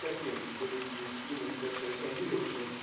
second, to reduce human pressures on the oceans